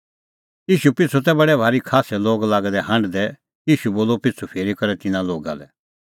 ईशू पिछ़ू तै बडै भारी खास्सै लोग लागै दै हांढदै ईशू बोलअ पिछ़ू फिरी करै तिन्नां लोगा लै